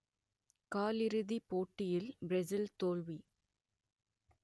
காலிறுதிப் போட்டியில் பிரெசில் தோல்வி